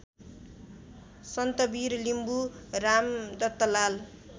Santabir Limbu Ramdattalal